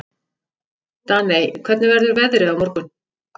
Daney, hvernig verður veðrið á morgun?